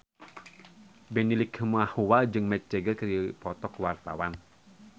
Benny Likumahua jeung Mick Jagger keur dipoto ku wartawan